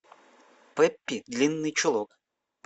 пеппи длинный чулок